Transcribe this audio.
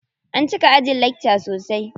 An cika ajin lakca sosai.